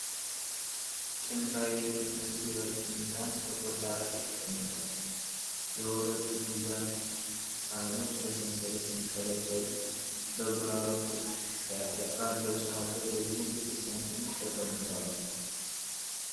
ጥንታዊ የሚመስል የወርቅ ሚዛን ጥቁር ዳራ ላይ ተቀምጧል። የሁለቱ ሚዛን ሳህኖች በሰንሰለት ሲንጠለጠሉ፣ በግራ በኩል ባለው ሳህን ላይ ደግሞ ጥቂት ሳንቲሞች ተቀምጠዋል።